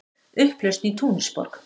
Upplausn í Túnisborg